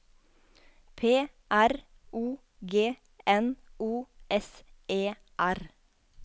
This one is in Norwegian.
P R O G N O S E R